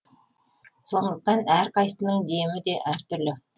сондықтан әрқайсысының демі де әртүрлі